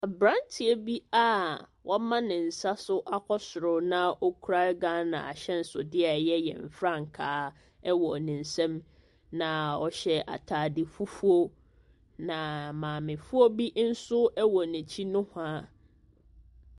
Abranteɛ bi a wama ne nsa nso akɔ soro na ɔkita Ghana ahyensodeɛ a ɛyɛ yen frankaa ɛwo ne nsam na ɔhye ataade fufuo na maame foɔ bi nso ɛwɔ na akyiri nowhaa.